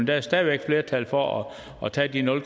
der er stadig væk flertal for at tage de nul